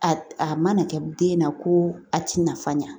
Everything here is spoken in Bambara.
A a mana kɛ den na ko a ti nafa ɲɛ